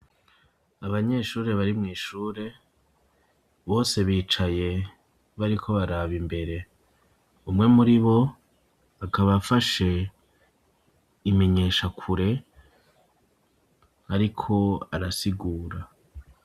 Abanyeshure bari mw’ishure, bose bicaye bariko baraba imbere; umwe muri bo akaba afashe imenyeshakure ariko arasigura.